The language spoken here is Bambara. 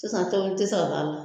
Sisan tobili te se ka k'ala